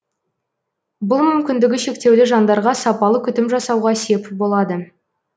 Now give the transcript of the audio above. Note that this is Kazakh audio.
бұл мүмкіндігі шектеулі жандарға сапалы күтім жасауға сеп болады